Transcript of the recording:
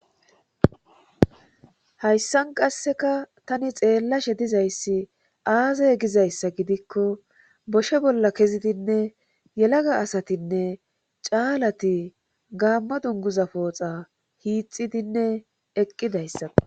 Hayssan qasseka tani xeellashe dizayssi aazay gizayssa gidikko boshe bolla kezidinne yelaga asatinne caalati gaamma dunguza pooxa hiixidinne eqqidayssa.